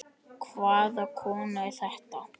Hvaða kona er þetta?